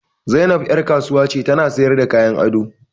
Zainab ƴar kasuwa ce ta na sayarda kayan ado